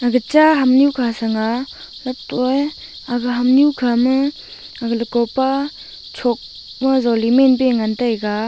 ag cha hamnu kha sanga lettohye ag hamnu khama ag lakopa chokma joli menpuye ngantaiga.